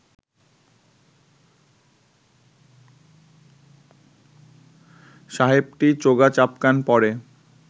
সাহেবটি চোগা চাপকান পরে